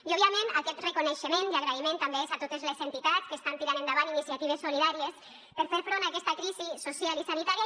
i òbviament aquest reconeixement i agraïment també és a totes les entitats que estan tirant endavant iniciatives solidàries per a fer front a aquesta crisi social i sanitària